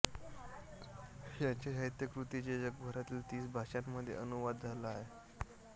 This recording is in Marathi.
याच्या साहित्यकृतींचे जगभरातील तीस भाषांमध्ये अनुवाद झाले आहेत